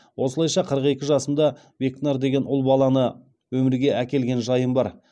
осылайша қырық екі жасымда бекнар деген ұл баланы өмірге әкелген жайым бар